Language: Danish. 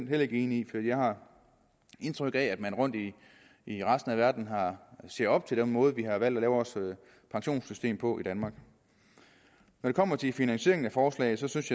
heller ikke enig i for jeg har indtryk af at man rundt i i resten af verden ser op til den måde vi har valgt at lave vores pensionssystem på i danmark når det kommer til finansieringen af forslaget synes